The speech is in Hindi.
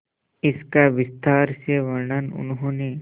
इसका विस्तार से वर्णन उन्होंने